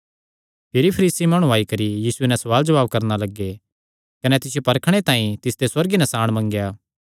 भिरी फरीसी माणु आई करी यीशुये नैं सवाल जवाब करणा लग्गे कने तिसियो परखणे तांई तिसते सुअर्गीय नसाण मंगेया